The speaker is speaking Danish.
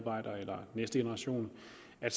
af